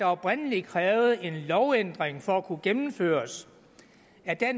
oprindelig krævede en lovændring for at kunne gennemføres